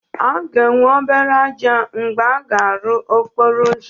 A ga-enwe obere ájá mgbe a na-arụ okporo ụzọ